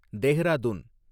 Dehradun